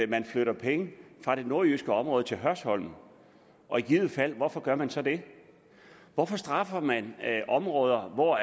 man flytter penge fra det nordjyske område til hørsholm og i givet fald hvorfor gør man så det hvorfor straffer man områder hvor